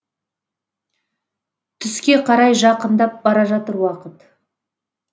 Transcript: түске қарай жақындап бара жатыр уақыт